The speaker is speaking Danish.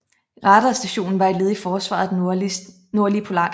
Radarstationen var et led i forsvaret af den nordlige polarkreds